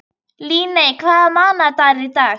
Líneik, hvaða mánaðardagur er í dag?